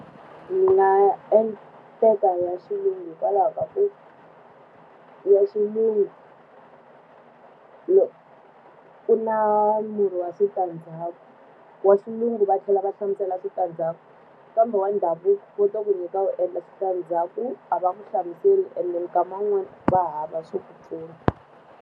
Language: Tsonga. ya xilungu hikwalaho ka ku ya xilungu ku na murhi wa switandzhaku. Wa xilungu va tlhela va hlamusela switandzhaku, kambe wa ndhavuko va to ku nyika wu endla switandzhaku a va n'wi hlamuseli ene mikama yin'wani va hava swo ku pfuna.